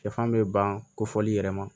Sɛfan bɛ ban kofɔli yɛrɛ ma